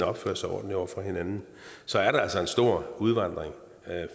opfører sig ordentligt over for hinanden så er der altså en stor udvandring